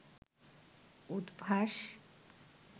Udvash